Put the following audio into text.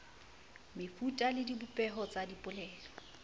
mefuta le dibopeho tsa dipolelo